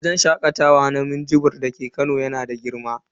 Wajen shakatawa na minjibir dake Kano yana da girma.